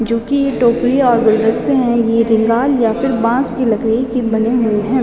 जो की ये टोकरी और गुलदस्ते हैं ये या बास की लकड़ी के बने हुए हैं।